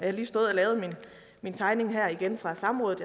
har lige stået og lavet min tegning fra samrådet